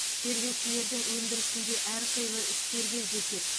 тергеушілердің өндірісінде әрқилы істер кездеседі